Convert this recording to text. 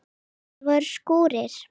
Það voru skúrir.